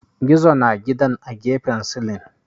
Gizo na gidan a gefen silin